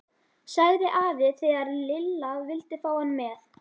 sagði afi þegar Lilla vildi fá hann með.